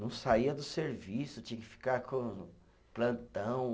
Não saía do serviço, tinha que ficar com plantão.